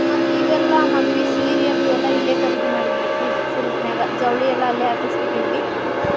ಮತ್ತ್ ಇವೆಲ್ಲ ಮದ್ವಿ ಸೀರಿ ಅದು ಎಲ್ಲಾ ಇಲ್ಲೆ ಖರೀದಿ ಮಾಡಿದ್ರೀ ಪ್ರೀತಿ silk ನ್ಯಾಗ ಜವ್ಳಿ ಎಲ್ಲಾ ಅಲ್ಲೇ ಹಾಕ್ಸಿ ಬಿಟ್ಟಿದ್ವಿ.